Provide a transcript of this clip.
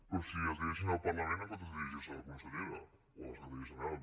però si es dirigeixen al parlament en comptes de dirigir se a la consellera o al secretaria general